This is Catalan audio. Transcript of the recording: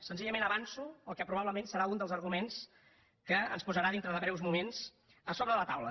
senzillament avanço el que probablement serà un dels arguments que ens posarà dintre de breus moments a sobre de la taula